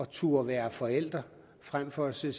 turde være forældre frem for at sige